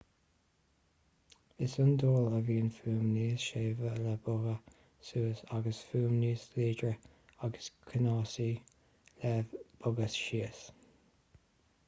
is iondúil a bhíonn fuaim níos séimhe le bogha suas agus fuaim níos láidre agus ceannasaí le bogha síos